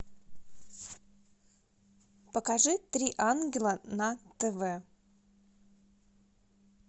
покажи три ангела на тв